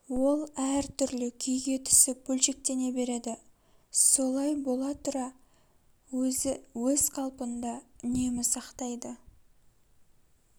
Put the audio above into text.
ол әр түрлі күйге түсіп бөлшектене береді солай бола тұра өзі өз қалпын да үнемі сактайды